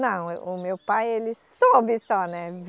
Não, o meu pai, ele soube só, né?